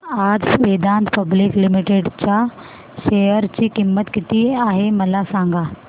आज Vedanta public limited च्या share ची किंमत किती आहे मला सांगा